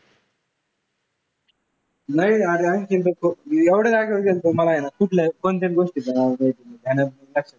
नाही अरे एवढ्या जागेवर गेलो होतो ना मला आहे ना कुठल्याही दोन तीन गोष्टीत आवडल्या